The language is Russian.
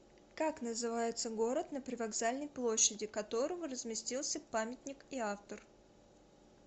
как называется город на привокзальной площади которого разместился памятник и автор